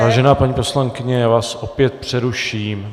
Vážená paní poslankyně, já vás opět přeruším.